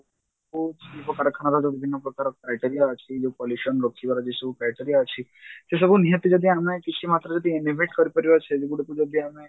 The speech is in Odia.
ଯଉ ବିଭିନ୍ନ ପ୍ରକାର criteria ଅଛି ଯଉ pollution ରୋକିବାର ଯଉ ସବୁ criteria ଅଛି ସେସବୁ ନିହାତି ଯଦି ଆମେ କିଛି ମାତ୍ରାରେ ଯଦି antedate କରିପାରିବା କୁ ଯଦି ଆମେ